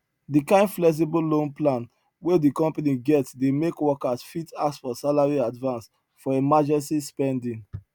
di kind flexible loan plan wey di company get dey make workers fit ask for salary advance for emergency spending